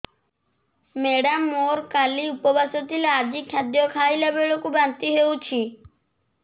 madam ମୋର କାଲି ଉପବାସ ଥିଲା ଆଜି ଖାଦ୍ୟ ଖାଇଲା ବେଳକୁ ବାନ୍ତି ହେଊଛି